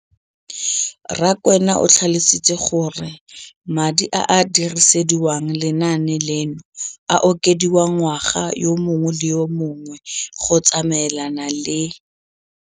Rakwena o tlhalositse gore madi a a dirisediwang lenaane leno a okediwa ngwaga yo mongwe le yo mongwe go tsamaelana le